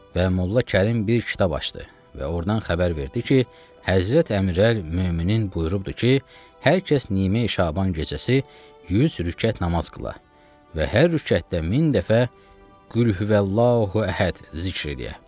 Və Molla Kərim bir kitab açdı və ordan xəbər verdi ki, Həzrəti Əmirəl möminin buyurubdur ki, hər kəs Nimi Şaban gecəsi 100 rükət namaz qıla və hər rükətdə min dəfə Qulhuvəllahu Əhəd zikr eləyə.